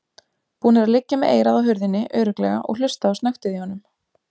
Búnir að liggja með eyrað á hurðinni örugglega og hlusta á snöktið í honum!